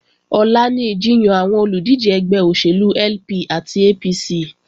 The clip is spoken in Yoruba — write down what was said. Ọ̀la ni ìjiyàn àwọn olùdíje ẹgbẹ́ òṣèlú LP àti APC